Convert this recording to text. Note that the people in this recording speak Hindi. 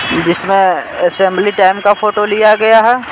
जिसमें असेंबली टाइम का फोटो लिया गया है।